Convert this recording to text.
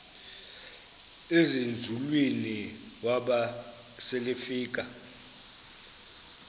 ezinzulwini waba selefika